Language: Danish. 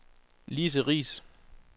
Lise Riis